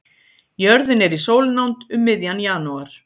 Jörðin er í sólnánd um miðjan janúar.